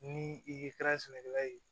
Ni i ye kɛra sɛnɛkɛla ye